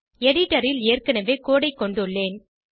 எடிடரில் ஏற்கனவே கோடு ஐ கொண்டுள்ளேன்